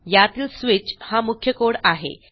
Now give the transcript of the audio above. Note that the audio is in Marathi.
यातील स्विच हा मुख्य कोड आहे